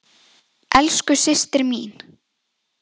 Elsku Systa mín.